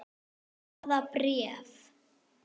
Hvaða bréf?